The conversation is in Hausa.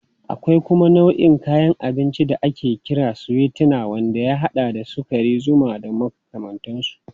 Akwai kuma nau'in kayan abinci da ake kira sweeteners wanda ya haɗa da sukari, zuma da makamantansu.